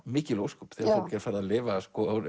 mikil ósköp þegar fólk er farið að lifa